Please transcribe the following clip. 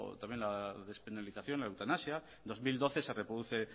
también a la despenalización de la eutanasia dos mil doce se reproducen